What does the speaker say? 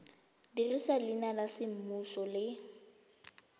dirisa leina la semmuso le